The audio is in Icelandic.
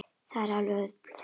Það er auðvelt að gleyma.